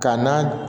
Ka na